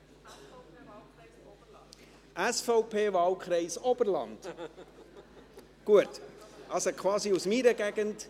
– Es ist die SVP, Wahlkreis Oberland, also quasi aus meiner Gegend.